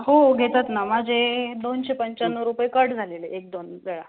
हो घेतात ना, माझे दोनशे पंचान्नौ रुपये cut झालेले एक दोन वेळा